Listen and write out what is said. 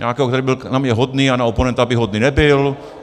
Nějakého, který by byl na mě hodný a na oponenta by hodný nebyl.